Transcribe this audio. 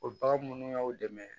O bagan minnu y'aw dɛmɛ